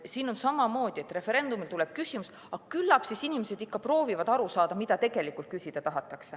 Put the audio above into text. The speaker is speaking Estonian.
Siin on samamoodi, et referendumil tuleb küsimus ja küllap siis inimesed ikka proovivad aru saada, mida tegelikult küsida tahetakse.